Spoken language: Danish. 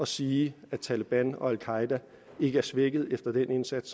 sige at taleban og al qaeda ikke er svækket efter den indsats